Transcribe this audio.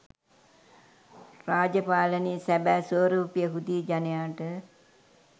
රාජපාලනයේ සැබෑ ස්වරුපය හුදී ජනයාට